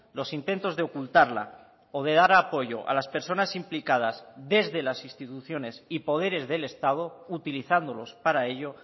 los intentos de ocultarla o de dar apoyo a las personas implicadas desde las instituciones y poderes del estado utilizándolos para ello